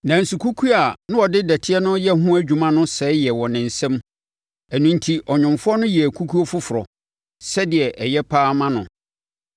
Nanso kukuo a na ɔde dɔteɛ no reyɛ ho adwuma no sɛeɛ wɔ ne nsa mu; ɛno enti ɔnwomfoɔ no yɛɛ kukuo foforɔ, sɛdeɛ ɛyɛ pa ara ma no.